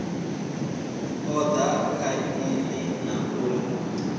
oda kha aini na uri